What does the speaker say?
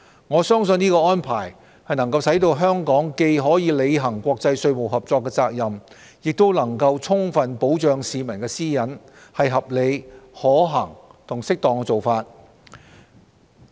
我相信這規定能使香港既可履行國際稅務合作責任，又能充分保障市民私隱，是合理、可行和適當的做法。